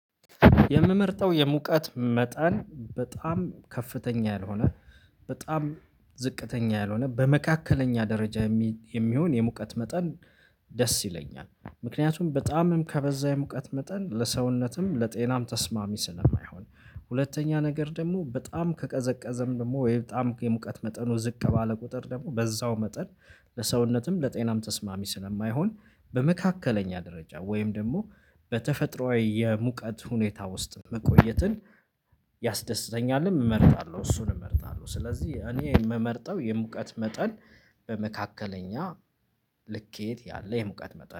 የምመርጠው የሙቀት መጠን በጣም ከፍተኛ ያልሆነ በጣም ዝቅተኛ ያልሆነ በመካከለኛ ደረጃ የሚሆን የሙቀት መጠን ደስ ይለኛል። ምክንያቱም በጣምም ከበዛ የሙቀት መጠን ለሰውነትም ለጤናም ተስማሚ ስለማይሆን ሁለተኛ ነገር ደግሞ በጣም ከቀዘቀዘም ደግሞ ወይ በጣም የሙቀት መጠኑ ዝቅ ባለ ቁጥር ደግሞ በዛው መጠን ለሰውነትም ለጤናም ተስማሚ ስለማይሆን በመካከለኛ ደረጃ ወይም ደግሞ በተፈጥሮአዊ የሙቀት ሁኔታ ውስጥ መቆየትን ያስደስተኛልም እመርጣለሁ እሱን እመርጣለሁ። ስለዚህ እኔ የምመርጠው የሙቀት መጠን በመካከለኛ ልኬት ያለ የሙቀት መጠን